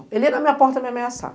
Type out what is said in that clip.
Ele ia na minha porta me ameaçar.